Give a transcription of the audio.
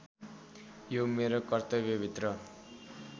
यो मेरो कर्तव्यभित्र